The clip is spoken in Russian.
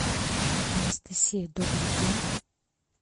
анастасия добрый день